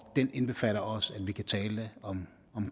den indbefatter også at vi kan tale om